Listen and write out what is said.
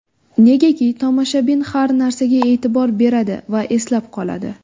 Negaki tomoshabin har narsaga e’tibor beradi va eslab qoladi.